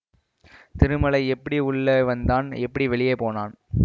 திருமலை எப்படி உள்ளே வந்தான் எப்படி வெளியே போனான்